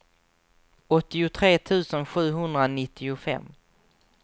åttiotre tusen sjuhundranittiofem